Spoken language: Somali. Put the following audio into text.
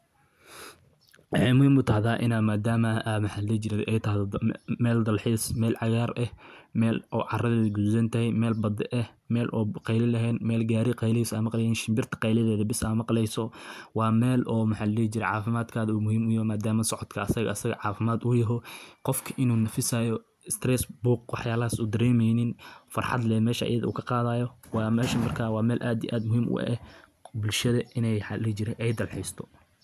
Dabeecadda socodku waa waayo-aragnimo hodan ah oo qofka ka caawisa inuu ku xirmo deegaanka dabiiciga ah, isagoo dareemaya deganaan, nasasho iyo farxad. Markaad subax hore socod ku aadayso kaynta ama buuraha, waxaad maqleysaa heesaha shimbiraha kala duwan, neefsanaysaa hawada nadiifta ah ee geedaha ka soo baxda, indhahuna waxay raaxeysanayaan aragtida.